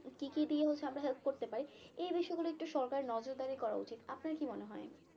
কি কি দিয়ে হচ্ছে আমরা help করতে পারি এই বিষয় গুলো একটু সরকারের নজরদারি করা উচিত আপনার কি মনে হয়?